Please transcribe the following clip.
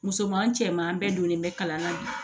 Musoman cɛman bɛɛ donnen bɛ kalan na bi